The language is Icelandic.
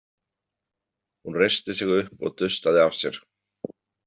Hún reisti sig upp og dustaði af sér.